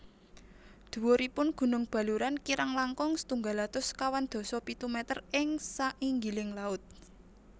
Dhuwuripun gunung Baluran kirang langkung setunggal atus sekawan dasa pitu meter ing sanginggiling laut